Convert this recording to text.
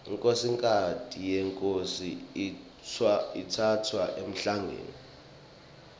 inkhosikati yenkhosi itsatfwa emhlangeni